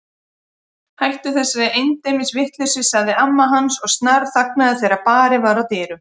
Hættu þessari endemis vitleysu sagði amma hans en snarþagnaði þegar barið var að dyrum.